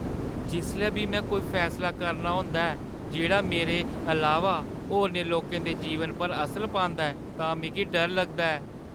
जिसलै बी में कोई फैसला करना होंदा ऐ जेह्ड़ा मेरे अलावा होरनें लोकें दे जीवनै पर असर पांदा ऐ तां मिगी डर लगदा ऐ।